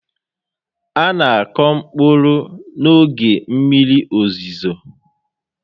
A na akụ mkpụrụ n'oge mmiri ozizo